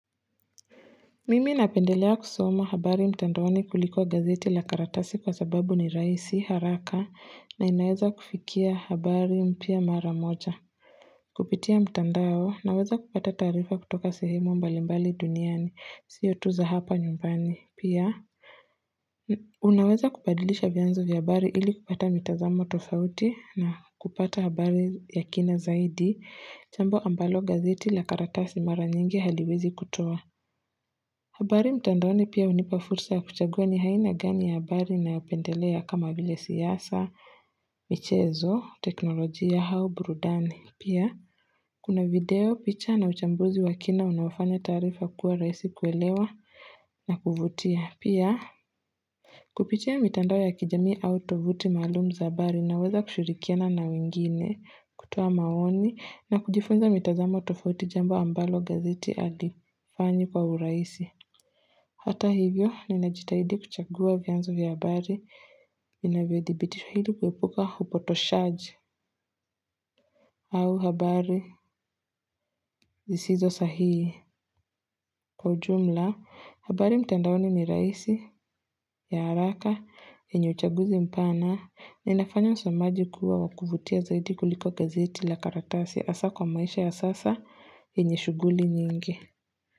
Mimi napendelea kusoma habari mtandaoni kuliko gazeti la karatasi kwa sababu ni rahisi haraka na inaweza kufikia habari mpya mara moja. Kupitia mtandao naweza kupata taarifa kutoka sehemu mbalimbali duniani. Siyo tu za hapa nyumbani. Pia. Unaweza kubadilisha vyanzo vya habari ili kupata mitazamo tofauti na kupata habari ya kina zaidi. Chambo ambalo gazeti la karatasi mara nyingi haliwezi kutoa. Habari mtandoni pia unipafursa ya kuchagua ni aina gani ya habari nayopendelea kama vile siasa, michezo, teknolojia, au, burudani. Pia, kuna video, picha na uchambuzi wa kina unaofanya taarifa kuwa rahisi kuelewa na kuvutia. Pia, kupitia mitandao ya kijamii au tovuti maalum za habari naweza kushirikiana na wingine kutoa maoni na kujifunza mitazamo tofauti jambo ambalo gazeti haifanyi kwa urahisi. Hata hivyo, ninajitahidi kuchagua vyanzo vya habari, vinavyo dibitisha ili kuepuka upotoshaji au habari zisizo sahihi. Kwa ujumla, habari mtendaoni ni rahisi, ya haraka, yenye uchaguzi mpana, na inafanya msomaji kuwa wakuvutia zaidi kuliko gazeti la karatasi hasa kwa maisha ya sasa yenye shuguli nyingi.